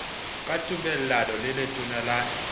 ka tumellano le letona la